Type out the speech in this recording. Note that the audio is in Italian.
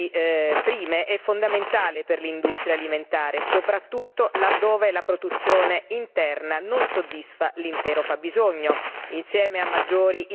L'importazione di materie prime è fondamentale per l'industria alimentare soprattutto laddove la produzione interna non soddisfa l'intero fabbisogno.